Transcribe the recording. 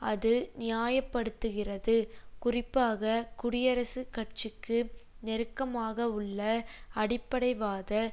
அது நியாயப்படுத்துகிறது குறிப்பாக குடியரசுக் கட்சிக்கு நெருக்கமாகவுள்ள அடிப்படைவாத